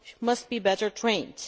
must be better trained.